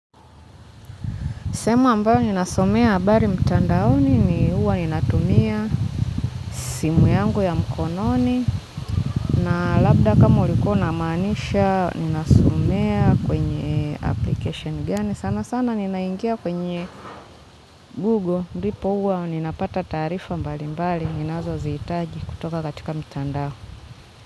Sehemu ambayo ninasomea habari mtandaoni ni huwa inatumia simu yangu ya mkononi na labda kama ulikuwa unamaanisha ninasomea kwenye application gani. Sana sana ninaingia kwenye google. Ndipo huwa ninapata taarifa mbali mbali ninazozihitaji kutoka katika mtandao.